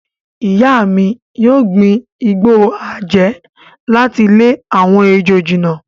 Ìyá mi yóò gbin igbó àjẹ́ láti lé àwọn ejò jìnnà.